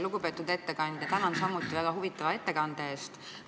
Lugupeetud ettekandja, tänan samuti väga huvitava ettekande eest!